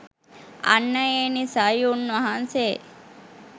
අන්න ඒ නිසයි උන්වහන්සේ